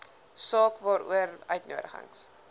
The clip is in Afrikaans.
saak waaroor uitnodigings